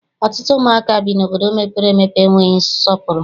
Ọtụtụ ụmụaka bi n'obodo mepere emepe enweghị nsọpụrụ.